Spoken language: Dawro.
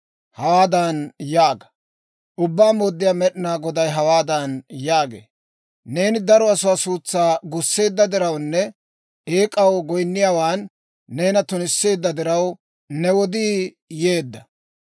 Hawaadan yaaga; ‹Ubbaa Mooddiyaa Med'inaa Goday hawaadan yaagee; «Neeni daro asaa suutsaa gusseedda dirawunne eek'aw goyinniyaawan neena tunisseedda diraw, ne wodii yeedda.